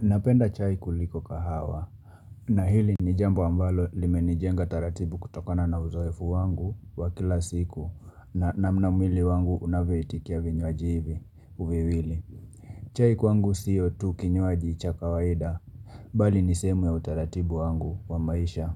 Napenda chai kuliko kahawa. Na hili ni jambo ambalo limenijenga taratibu kutokana na uzoefu wangu wa kila siku na namna mwili wangu unavyoitikia vinywaji hivi viwili. Chai kwangu sio tu kinywaji cha kawaida. Bali ni sehemu ya utaratibu wangu wa maisha.